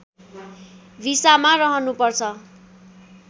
भिसामा रहनुपर्छ